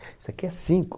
Isso aqui é cinco.